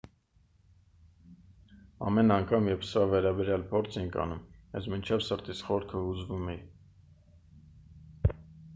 ամեն անգամ երբ սրա վերաբերյալ փորձ էինք անում ես մինչև սրտիս խորքը հուզվում էի